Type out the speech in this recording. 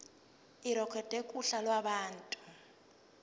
irekhodwe kuhla lwabantu